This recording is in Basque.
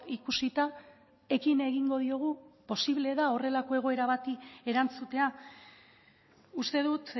ikusita ekin egingo diogu posible da horrelako egoera bati erantzutea uste dut